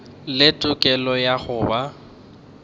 le tokelo ya go ba